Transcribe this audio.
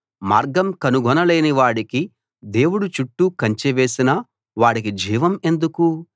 మార్గం కనుగొనలేని వాడికి దేవుడు చుట్టూ కంచె వేసిన వాడికి జీవం ఎందుకు